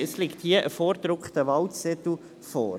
Es liegt hier ein vorgedruckter Wahlzettel vor.